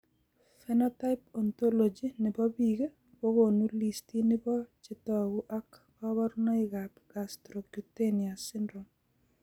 Phenotype ontology nebo biik kokonu listini bo chetogu ak kaborunoik ab Gastrocutaneos syndrome